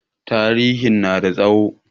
Tarihin na da tsawo.